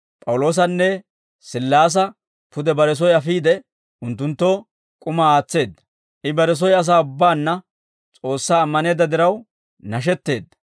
P'awuloosanne Sillaasa pude bare soy afiide, unttunttoo k'umaa aatseedda; I bare soy asaa ubbaanna S'oossaa ammaneedda diraw, nashetteedda.